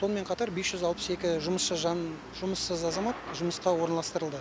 сонымен қатар бес жүз алпыс екі жұмыссыз жан жұмыссыз азамат жұмысқа орналастырылды